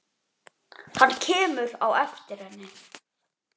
Hann kemur á eftir henni.